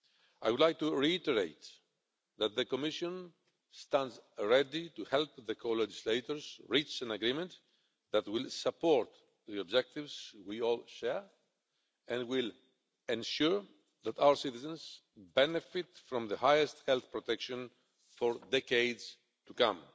I would like to reiterate that the Commission stands ready to help the co-legislators reach an agreement that will support the objectives we all share and will ensure that our citizens benefit from the highest health protection for decades to come.